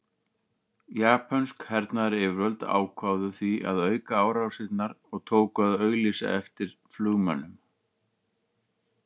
Japönsk hernaðaryfirvöld ákváðu því að auka árásirnar og tóku að auglýsa eftir flugmönnum.